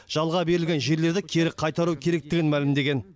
жалға берілген жерлерді кері қайтару керектігін мәлімдеген